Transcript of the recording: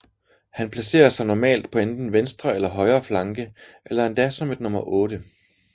Han placerer sig normalt på enten venstre eller højre flanke eller endda som et nummer 8